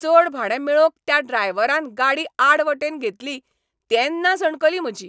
चड भाडें मेळोवंक त्या ड्रायव्हरान गाडी आड वाटेन घेतली तेन्ना सणकली म्हजी.